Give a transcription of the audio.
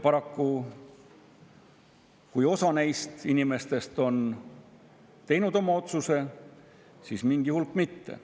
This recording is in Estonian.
Paraku, kui osa neist inimestest on teinud oma otsuse, siis mingi hulk mitte.